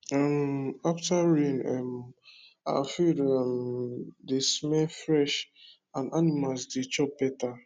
um after rain um our field um dey smell fresh and animals dey chop better